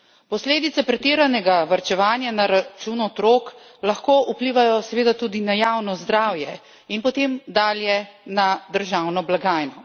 Posledice pretiranega varčevanja na račun otrok lahko vplivajo seveda tudi na javno zdravje in potem dalje na državno blagajno.